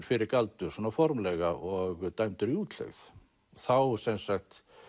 fyrir galdur svona formlega og dæmdur í útlegð þá sem sagt